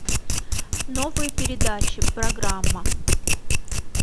новые передачи программа